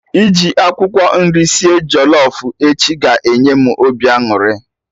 Iji akwụkwọ nri sie jollof echi ga-enye m obi aṅụrị